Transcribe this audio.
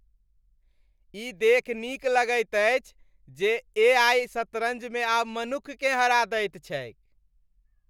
ई देखि नीक लगैत अछि जे ए.आइ. शतरञ्जमे आब मनुक्खकेँ हरा दैत छैक।